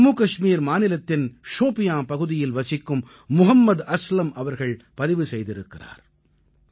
இதை ஜம்மு கஷ்மீர் மாநிலத்தின் ஷோபியான் பகுதியில் வசிக்கும் முஹம்மத் அஸ்லம் அவர்கள் பதிவு செய்திருக்கிறார்